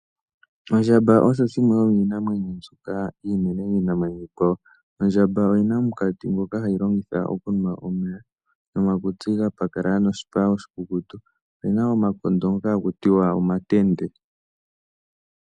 Ondjamba osho shimwe sho miinamwenyo mbyoka iinene miinamwenyo iikwawo. Ondjamba oyina omukatsi ngoka hayi longitha okunwa omeya, nomakutsi ga pakalala noshipa oshikukutu, oyina omakondo ngoka hakutiwa omatende.